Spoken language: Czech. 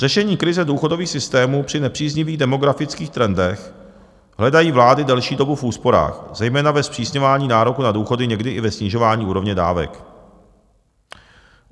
Řešení krize důchodových systémů při nepříznivých demografických trendech hledají vlády delší dobu v úsporách, zejména ve zpřísňování nároku na důchody, někdy i ve snižování úrovně dávek.